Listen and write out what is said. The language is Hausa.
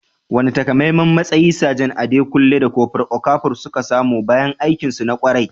Wane takamaiman matsayi Sajan Adekunle da Kofur Okafor suka samu bayan aikinsu na ƙwarai?